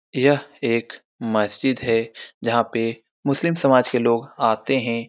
यह एक मस्जिद है जहां पे मुस्लिम समाज के लोग आते हैं।